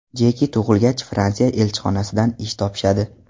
Jeki tug‘ilgach Fransiya elchixonasidan ish topishadi.